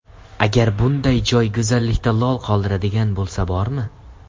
Agar bunday joy go‘zallikda lol qoldiradigan bo‘lsa bormi?